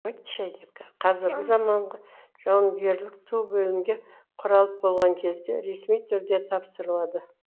қазіргі замаңғы жауынгерлік ту бөлімге құралып болған кезде ресми түрде тапсырылады